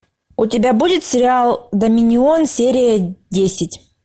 у тебя будет сериал доминион серия десять